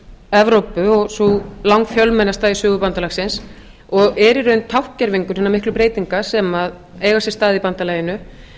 evrópu og sú langfjölmennasta í sögu bandalagsins og er í raun tákngervingur hinna miklu breytinga sem eiga sér stað í bandalaginu